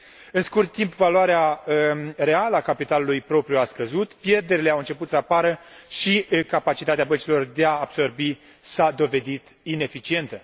În scurt timp, valoarea reală a capitalului propriu a scăzut, pierderile au început să apară și capacitatea băncilor de a absorbi s a dovedit ineficientă.